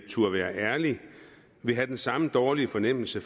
turde være ærlig ville have den samme dårlige fornemmelse